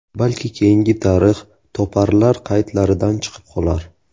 Balki keyingi tarix toparlar qaydlaridan chiqib qolar...